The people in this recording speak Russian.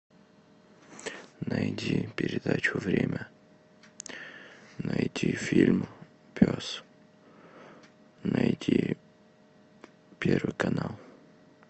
найди передачу время найди фильм пес найди первый канал